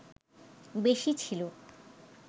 বেশি ছিলো